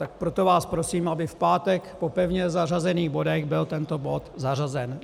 Tak proto vás prosím, aby v pátek po pevně zařazených bodech byl tento bod zařazen.